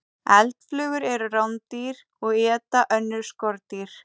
Eldflugur eru rándýr og éta önnur skordýr.